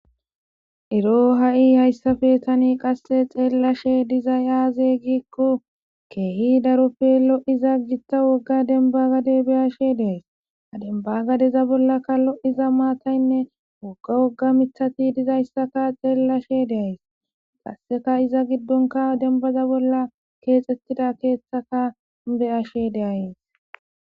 Ero ha'i hayssafe tani qasse xeellashe dizay aaze giikko keehi daroppe lo'iza gitta wogga denba gade beyashe deays adenbagadeza bollakka lo'iza maataynne wogga wogga mitati dizayssaka xeellashe deays qasseka iza giddonka denbaza bolla keexettida keeththaka beyashe deays